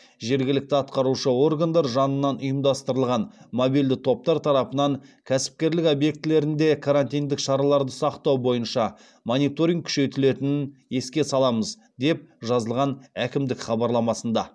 жергілікті атқарушы органдар жанынан ұйымдастырылған мобильді топтар тарапынан кәсіпкерлік объектілерінде карантиндік шараларды сақтау бойынша мониторинг күшейтілетінін еске саламыз деп жазылған әкімдік хабарламасында